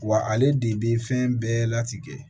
Wa ale de bɛ fɛn bɛɛ latigɛ